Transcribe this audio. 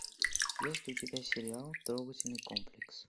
есть у тебя сериал трогательный комплекс